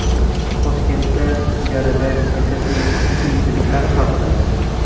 Toshkentda ijarada yashashning qiyinchiliklari haqida.